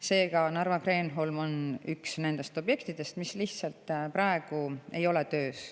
Seega, Narva Kreenholm on üks nendest objektidest, mis lihtsalt praegu ei ole töös.